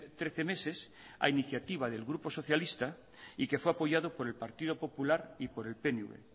trece meses a iniciativa del grupo socialista y que fue apoyado por el partido popular y por el pnv